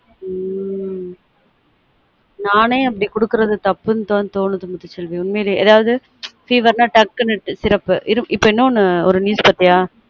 ம் நானே அப்டி குடுக்குறது தப்புனு தொனுது முத்து செல்வி உண்மையிலே அதாவது fever நா டக்குனு syrup இப்ப இன்னொன்னு ஒரு news பார்த்தியா